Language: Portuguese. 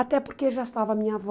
Até porque já estava a minha avó.